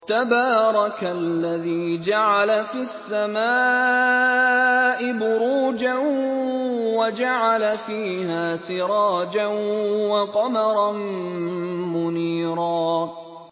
تَبَارَكَ الَّذِي جَعَلَ فِي السَّمَاءِ بُرُوجًا وَجَعَلَ فِيهَا سِرَاجًا وَقَمَرًا مُّنِيرًا